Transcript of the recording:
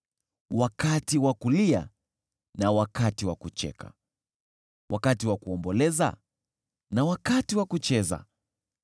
wakati wa kulia na wakati wa kucheka, wakati wa kuomboleza na wakati wa kucheza,